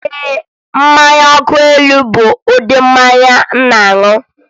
Ee, mmanya nkwụ elu bụ ụdị mmanya m na-aṅụ.